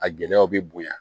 A gɛlɛyaw bɛ bonya